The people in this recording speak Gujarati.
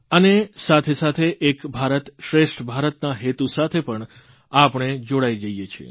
અને સાથે સાથે એક ભારતશ્રેષ્ઠ ભારત ના હેતુ સાથે પણ આપણે જોડાઇ જઇએ છીએ